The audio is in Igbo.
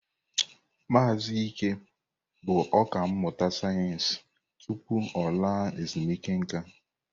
Maazị Ike bụ ọkà mmụta sayensị tupu ọ laa ezumike nka.